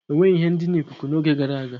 Enweghi ihe ndina ikuku n'oge gara aga.